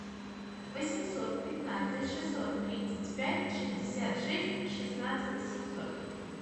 восемьсот пятнадцать шестьсот тридцать пять шестьдесят шесть шестнадцать семьсот